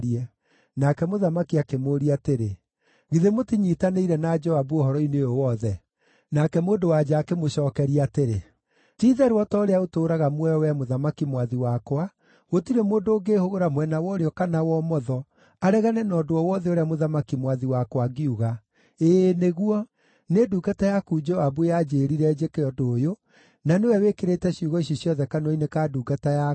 Nake mũthamaki akĩmũũria atĩrĩ, “Githĩ mũtinyiitanĩire na Joabu ũhoro-inĩ ũyũ wothe?” Nake mũndũ-wa-nja akĩmũcookeria atĩrĩ, “Ti-itherũ o ta ũrĩa ũtũũraga muoyo, wee mũthamaki mwathi wakwa, gũtirĩ mũndũ ũngĩĩhũgũra mwena wa ũrĩo kana wa ũmotho, aregane na ũndũ o wothe ũrĩa mũthamaki mwathi wakwa angiuga. Ĩĩ nĩguo, nĩ ndungata yaku Joabu yanjĩĩrire njĩke ũndũ ũyũ, na nĩwe wĩkĩrĩte ciugo ici ciothe kanua-inĩ ka ndungata yaku.